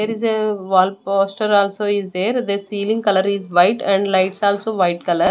There is a wall poster also is there. The ceiling color is white and lights also white color.